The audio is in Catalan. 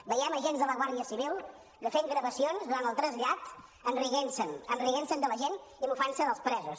veiem agents de la guàrdia civil fent gravacions durant el trasllat rient se’n rient se de la gent i mofant se dels presos